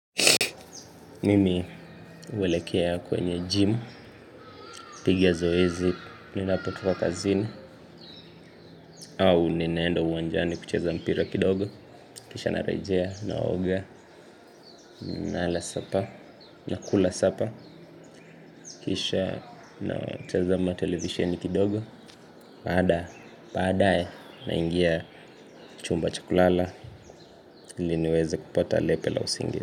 Mimi huwelekea kwenye gym, piga zoezi, ninapotoka kazini, au ninaenda uwanjani kucheza mpira kidogo, kisha narejea, naoga, na kula sapa, kisha natazama televisheni kidogo, baada, baadae, naingia chumba cha kulala, iliniweze kupata lepe la usingizi.